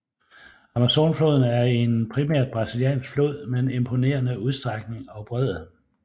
Amazonfloden er en primært brasiliansk flod med en imponerende udstrækning og bredde